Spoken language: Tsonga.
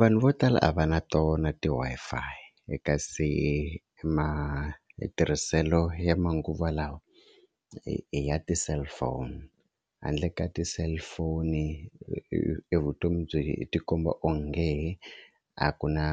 Vanhu vo tala a va na tona ti-Wi-Fi kasi matirhiselo ya manguva lawa i ya ti-cellphone handle ka ti-cellphone e vutomi byi tikomba onge a ku na